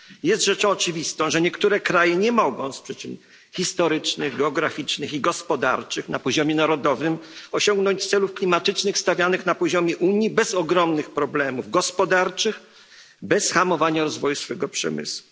Jest rzeczą oczywistą, że niektóre kraje nie mogą z przyczyn historycznych, geograficznych i gospodarczych osiągnąć na poziomie narodowym celów klimatycznych stawianych na poziomie Unii bez ogromnych problemów gospodarczych, bez hamowania rozwoju swego przemysłu.